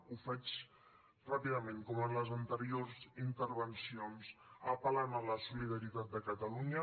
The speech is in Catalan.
ho faig ràpidament com en les anteriors intervencions apel·lant a la solidaritat de catalunya